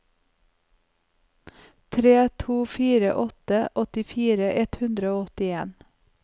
tre to fire åtte åttifire ett hundre og åttien